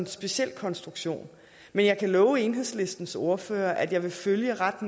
speciel konstruktion men jeg kan love enhedslistens ordfører at jeg vil følge ret